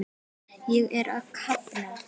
Ég er að kafna.